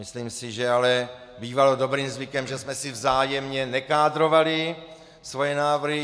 Myslím si ale, že bývalo dobrým zvykem, že jsme si vzájemně nekádrovali svoje návrhy.